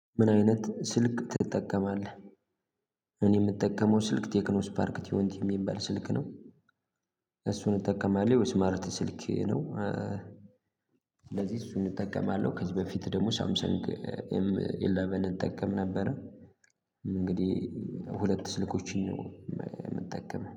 ምን አይነት ስልክ ትጠቀማለህ? እኔ የምጠቀመው ስልክ ቴክኖ ስፓርክ ቲዎንቲ የሚባል ስልክ ነው። እሱን እጠቀማለሁ ስማርት ስልክ ነው። ስለዚህ እሱን እጠቀማለሁ ከዚህ በፊት ደግሞ ሳምሰንግ ኤም ኢለቨን እጠቀም ነበረ። እንግዲህ ሁለት ስልኮችን ነው የምጠቀመው